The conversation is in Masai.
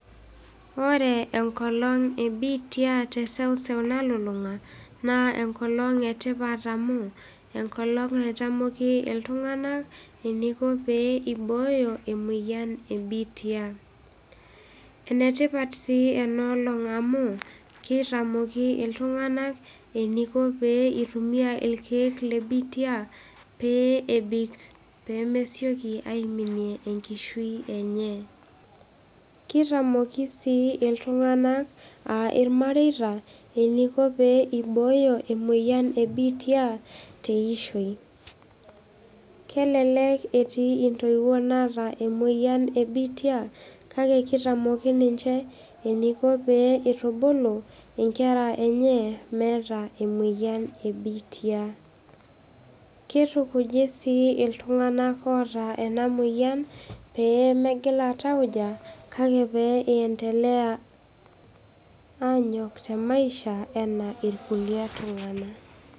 Ore enkolong ebiitia te seuseu nalulunga naa enkolong etipat amuu enkolong naitamoki ltunganak eneiko pee eibooyo emoyian ebiitia, enetipat sii ena olong amuu keitamoki iltunganak eneiko peeitumia irkeek le biitia peeebik pemesioki aiminie enkishu enyee, keitamoki sii iltunganak aa irmareita eneiko pee eibooyo emoyian ebiitia te ishoi, kelelek etii ntoiwo naaata emoyian ebiitia kake keitamoki ninche eneiko pee eitubulu inkerra enyee emeeta emoyian ebiitia, keitukuji sii ltunganak oota ena moyian peemegila ltauja kake peendelea aanyok te maisha enaa olkule tungana.